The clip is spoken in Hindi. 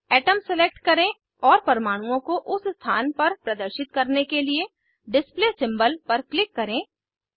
अतोम सेलेक्ट करें और परमाणुओं को उस स्थान पर प्रदर्शित करने के लिए डिस्प्ले सिम्बोल पर क्लिक करें